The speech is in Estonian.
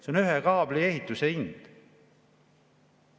See on ühe kaabelühenduse hind.